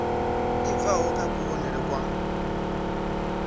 i bvaho kha kuvhonele kwa